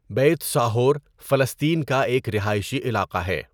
Beit Sahour فلسطین کا ایک رہائشی علاقہ ہے۔